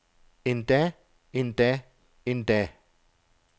endda endda endda